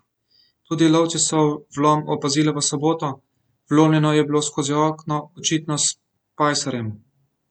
Tudi lovci so vlom opazili v soboto, vlomljeno je bilo skozi okno, očitno s pajserjem.